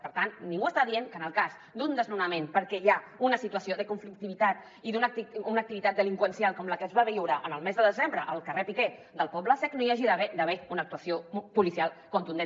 per tant ningú està dient que en el cas d’un desnonament perquè hi ha una situació de conflictivitat i d’una activitat delinqüencial com la que es va viure el mes de desembre al carrer piquer del poble sec no hi hagi d’haver una actuació policial contundent